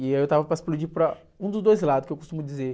E aí eu estava para explodir para um dos dois lados, que eu costumo dizer.